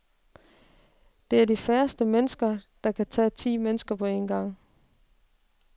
Det er de færreste mennesker, der kan tage ti mennesker på en gang.